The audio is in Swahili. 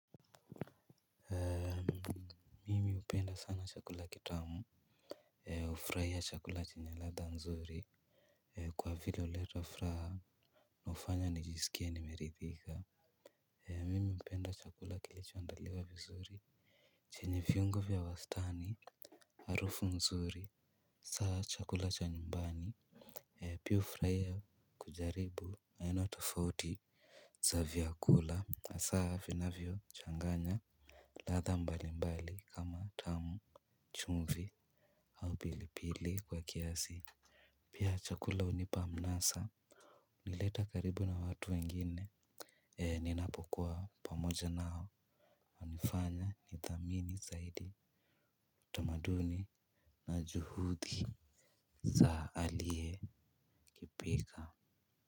Mi hupenda sana chakula kitamu. Hufurahia chakula chenye ladha nzuri. Kwa vile huleta furaha hufanya nijisikie nimeridhika. Mimi hupenda chakula kilichoandaliwa vizuri chenye viungo vya wastani. Harufu mzuri saa chakula cha nyumbani Piu hufurahia kujaribu aina tofauti za vyakula hasa vinavyochanganya ladha mbali mbali kama tamu chumvi au pilipili kwa kiasi. Pia chakula hunipa mnasa. Nileta karibu na watu wengine. Eee ninapokuwa pamoja nao. Hunifanya nithamini zaidi tamaduni na juhudi za aliyekiPika.